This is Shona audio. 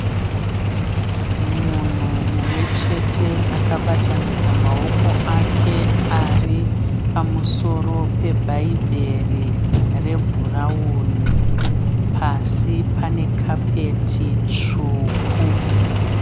Munhu mumwechete akabatanidza maoko ake aripamusoro pebhaibheri rebhurawuni. Pasi pane kapeti tsvuku.